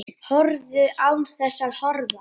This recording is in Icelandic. Horfðu. án þess að horfa.